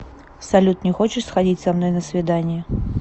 салют не хочешь сходить со мной на свидание